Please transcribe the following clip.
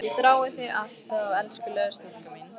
Ég þrái þig alt af elskulega stúlkan mín.